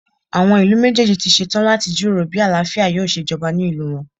Àwọn ìlú méjèèjì ti ṣe tán láti jíròrò bí àlàáfíà yóò ṣe jọba ní ìlú wọn.